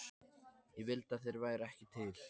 Ég vildi að þeir væru ekki til.